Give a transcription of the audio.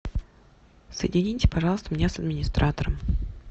соедините меня пожалуйста с администратором